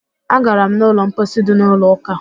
Agara m n'ụlọ mposi dị n'ụlọ ụka